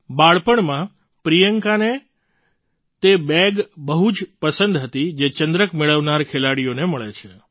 બાળપણમાં પ્રિયંકાને તે બેગ બહુ જ પસંદ હતી જે ચંદ્રક મેળવનાર ખેલાડીઓને મળે છે